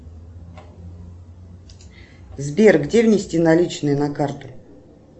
сбер где внести наличные на карту